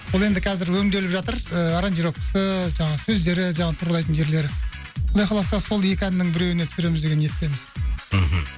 бұл енді қазір өңделіп жатыр ыыы аранжировкасы жаңағы сөздері жаңағы туралайтын жерлері құдай қаласа сол екі әннің біреуіне түсіреміз деген ниеттеміз мхм